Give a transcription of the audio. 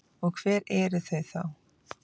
Og hver eru þau þá?